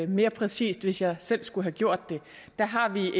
mere præcist hvis jeg selv skulle have gjort det der har vi